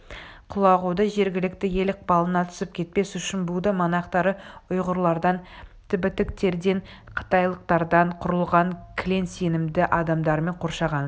құлағуды жергілікті ел ықпалына түсіп кетпес үшін будда монахтары ұйғырлардан тібіттіктерден қытайлықтардан құрылған кілең сенімді адамдармен қоршаған